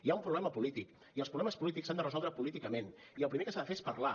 hi ha un problema polític i els problemes polítics s’han de resoldre políticament i el primer que s’ha de fer és parlar